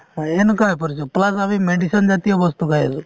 হয় এনেকুৱা হৈ পৰিছো plus আমি medicine জাতিয় বস্তু খাই আছো |